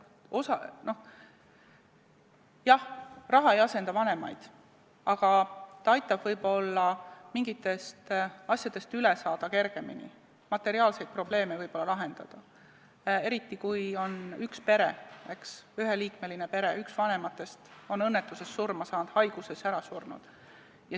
Jah, raha ei asenda vanemaid, aga ta aitab võib-olla mingitest asjadest kergemini üle saada, materiaalseid probleeme lahendada, eriti kui on pere, kus üks vanematest on õnnetuses surma saanud või haiguse tõttu surnud.